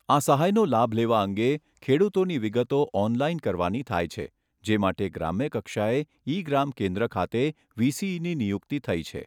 આ સહાયનો લાભ લેવા અંગે ખેડૂતોની વિગતો ઓનલાઇન કરવાની થાય છે, જે માટે ગ્રામ્યકક્ષાએ ઇ ગ્રામ કેન્દ્ર ખાતે વીસીઇની નિયુકિત થઈ છે.